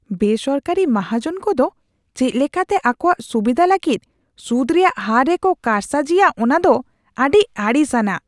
ᱵᱮᱼᱥᱚᱨᱠᱟᱨᱤ ᱢᱟᱦᱟᱡᱚᱱ ᱠᱚᱫᱚ ᱪᱮᱫ ᱞᱮᱠᱟᱛᱮ ᱟᱠᱚᱣᱟᱜ ᱥᱩᱵᱤᱫᱷᱟ ᱞᱟᱹᱜᱤᱫ ᱥᱩᱫ ᱨᱮᱭᱟᱜ ᱦᱟᱨ ᱨᱮᱠᱚ ᱠᱟᱨᱥᱟᱹᱡᱤᱭᱟ ᱚᱱᱟ ᱫᱚ ᱟᱹᱰᱤ ᱟᱹᱲᱤᱥ ᱟᱱᱟᱜ ᱾